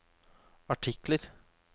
artikler